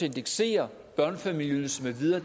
indeksere børnefamilieydelsen med videre